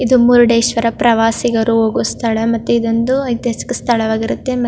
ಕೈ ಮುಗಿದು ಬಾ ಆವಾಗ್ ನಿನಗೆ ನೆಮ್ಮದಿ ಸಿಗುತ್ತೆ ಅಂತ ಹೇಳತ್ತರೆ ದೇವಸ್ಥಾನ ಒಂದು ಪವಿತ್ರ ಸ್ಥಳ ಆಗಿರೋದ್ರಿಂದ ನಾವಲ್ಲಿ ಹೋಗಿ --